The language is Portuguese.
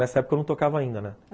Nessa época eu não tocava ainda, né?